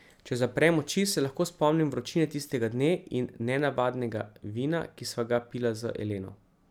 Če zaprem oči, se lahko spomnim vročine tistega dne in nenavadnega vina, ki sva ga pila z Eleno.